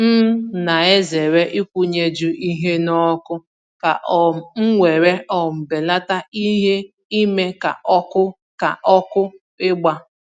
M na-ezere ịkwụnyeju ihe n'ọkụ, ka um m were um belate ìhè ime ka ọkụ ka ọkụ igba